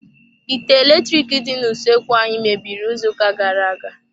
Ite eletrik dị n'usoekwu anyị mebiri izu ụka gara-aga.